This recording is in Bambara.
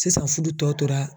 Sisan fudu tɔ tora